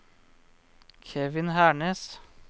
Kevin Hernes